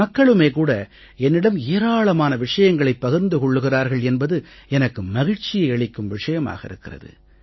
மக்களுமே கூட என்னிடம் ஏராளமான விஷயங்களைப் பகிர்ந்து கொள்கிறார்கள் என்பது எனக்கு மகிழ்ச்சியை அளிக்கும் விஷயமாக இருக்கிறது